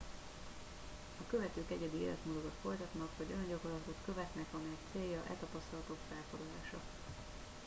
a követők egyedi életmódokat folytatnak vagy olyan gyakorlatokat követnek amelyek célja e tapasztalatok felkarolása